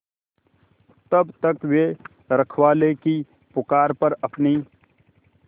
तब तक वे रखवाले की पुकार पर अपनी